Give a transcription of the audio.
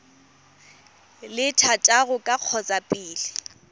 le thataro ka kgotsa pele